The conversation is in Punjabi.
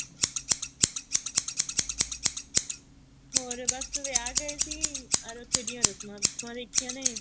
ਹੋਰ ਬੱਸ ਵਿਆਹ ਗਏ ਸੀ ਉੱਥੇ ਦੀਆਂ ਰਸਮਾ ਰੁਸਮਾ ਦੇਖੀਆਂ ਨੇ